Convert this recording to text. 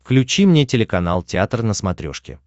включи мне телеканал театр на смотрешке